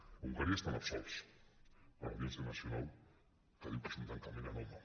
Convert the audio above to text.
egunkaria estan absolts per l’audiència nacional que diu que és un tancament anòmal